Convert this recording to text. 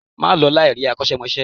Ma lọ láì rí akosemose